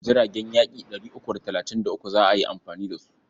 Jiragen yaƙi ɗari uku da talatin da uku za a yi amfani da su.